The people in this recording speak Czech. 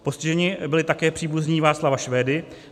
Postiženi byli také příbuzní Václava Švédy.